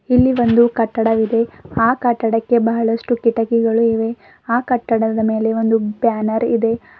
ಇಲ್ಲಿ ಒಂದು ಕಟ್ಟಡ ಇದೆ ಆ ಕಟ್ಟಡಕ್ಕೆ ಬಹಳಷ್ಟು ಕಿಟಕಿಗಳು ಇವೆ ಆ ಕಟ್ಟಡದ ಮೇಲೆ ಒಂದು ಬ್ಯಾನರ್ ಇದೆ.